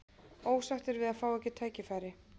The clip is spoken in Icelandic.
Ósáttir við að fá ekki tækifæri